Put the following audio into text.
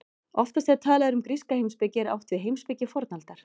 Oftast þegar talað er um gríska heimspeki er átt við heimspeki fornaldar.